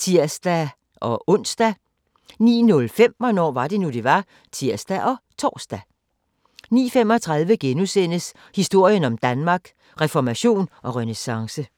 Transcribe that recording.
(tir-ons) 09:05: Hvornår var det nu, det var? (tir og tor) 09:35: Historien om Danmark: Reformation og renæssance *